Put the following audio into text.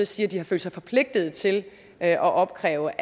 sige at de har følt sig forpligtet til at opkræve